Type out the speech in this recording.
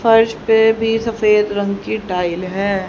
फर्श पे भी सफेद रंग की टाइल है।